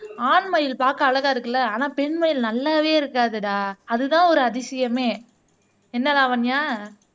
ஆண் மயில் பாக்க அழகா இருக்குல்ல ஆனா பெண் மயில் நல்லாவே இருக்காதுடா அதுதான் ஒரு அதிசயமே என்ன லாவண்யா